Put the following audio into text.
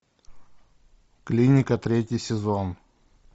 клиника третий сезон